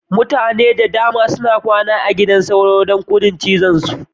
Mutane da dama suna kwana a gidan sauro ne, don gudun cizonsa.